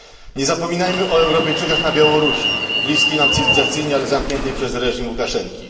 Nie zapominajmy o Europejczykach na Białorusi, bliskiej nam cywilizacyjnie, ale zamkniętej przez reżim Łukaszenki.